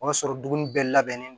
O y'a sɔrɔ dumuni bɛɛ labɛnnen don